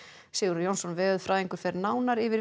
Sigurður Jónsson veðurfræðingur fer nánar yfir